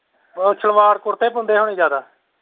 ਸਲਵਾਰ ਕੁਰਤਾ ਹੀ ਪਾਉਂਦੇ ਹੋਣੇ ਜਿਆਦਾ।